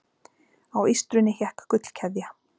Á ístrunni hékk gullkeðja.